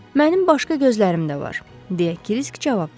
Mənim başqa gözlərim də var, deyə Kirisk cavab verdi.